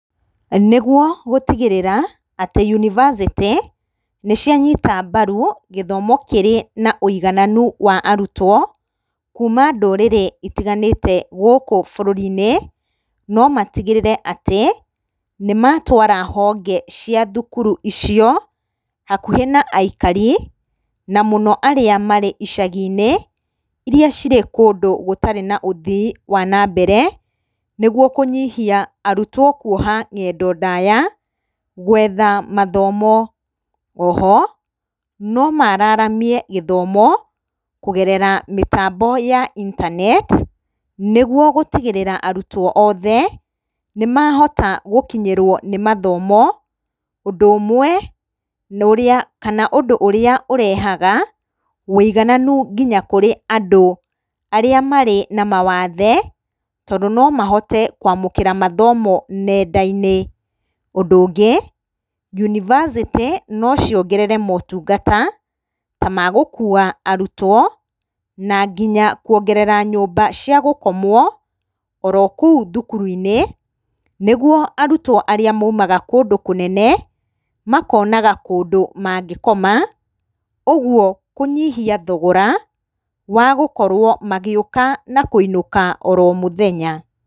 Nĩguo gũtigĩrĩra atĩ Yunivasĩtĩ nĩ cianyita mbaru gĩthomo kĩrĩ na ũigananu wa arutwo, kuuma ndũrĩrĩ itiganĩte gũkũ bũrũri-inĩ, no matigĩrĩre atĩ nĩ matwara honge cia thukuru icio hakuhĩ na aikari na mũno arĩa marĩ icagi-inĩ irĩa cirĩ kũndũ gũtarĩ na ũthii wa nambere., nĩguo kũnyihia arutwo kuoha ngendo ndaya gwetha mathomo. Oho no maararamie gĩthomo kũgerera mĩtambo ya intaneti nĩguo gũtigĩrĩra arutwo othe nĩ mahota gũkinyĩrwo nĩ mathomo. Ũndũ ũmwe kana ũndũ ũrĩa ũrehaga wũigananu nginya kũrĩ andũ arĩa marĩ na mawathe, tondũ no mahote kwamũkĩra mathomo nenda-inĩ. Ũndũ ũngĩ, yunivasĩtĩ no ciongerere motungata ta magũkua arutwo na nginya kuongerera nyũmba cia gũkomwo oro kũu thukuru-inĩ, nĩguo arutwo arĩa moimaga kũndũ kũnene makonaga kũndũ mangĩkoma. Ũguo kũnyihia thogora wa gũkorwo magĩũka na kũinũka oro mũthenya.